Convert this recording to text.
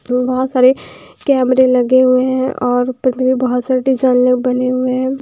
बहुत सारे कैमरे लगे हुए हैं और ऊपर में भी बहुत सारे बने हुए हैं।